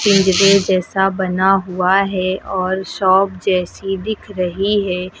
पिंजरे जैसा बना हुआ है और शॉप जैसी दिख रही है।